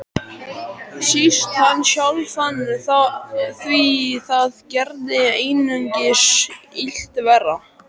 Síst hann sjálfan, því það gerði einungis illt verra.